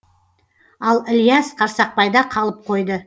ал ілияс қарсақбайда қалып қойды